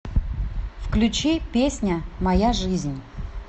включи песня моя жизнь